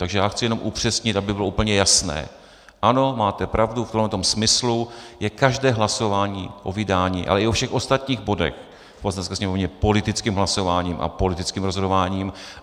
Takže já chci jenom upřesnit, aby bylo úplně jasné - ano, máte pravdu, v tomto smyslu je každé hlasování o vydání, ale i o všech ostatních bodech v Poslanecké sněmovně politickým hlasováním a politickým rozhodováním.